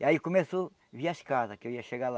E aí começou... vi as casas, que eu ia chegar lá